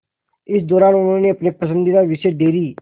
इस दौरान उन्होंने अपने पसंदीदा विषय डेयरी